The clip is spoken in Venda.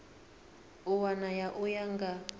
a wana u ya nga